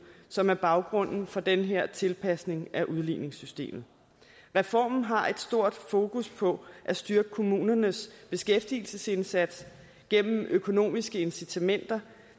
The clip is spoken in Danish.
som er baggrunden for den her tilpasning af udligningssystemet reformen har et stort fokus på at styrke kommunernes beskæftigelsesindsats gennem økonomiske incitamenter